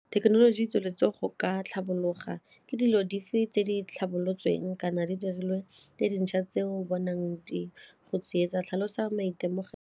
Thekenoloji e tsweletse go ka tlhabologa ke dilo dife tse di tlhabolotsweng kana di dirilwe tse dintšha tse o bonang di tsietsa, tlhalosa maitemogelo?